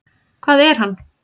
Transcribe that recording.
Hvað er hann?